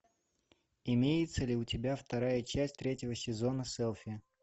имеется ли у тебя вторая часть третьего сезона селфи